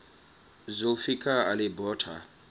zulfikar ali bhutto